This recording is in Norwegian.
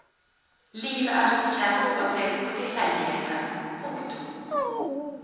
Livet er som kjent basert på tilfeldigheter. punktum